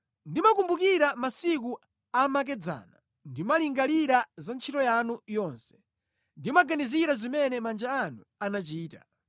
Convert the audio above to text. Ndimakumbukira masiku amakedzana; ndimalingalira za ntchito yanu yonse, ndimaganizira zimene manja anu anachita.